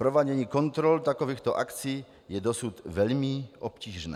Provádění kontrol takovýchto akci je dosud velmi obtížné.